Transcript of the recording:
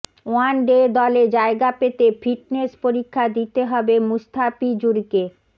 one day দলে জায়গা পেতে ফিটনেস পরীক্ষা দিতে হবে মুস্তাফিজুরকে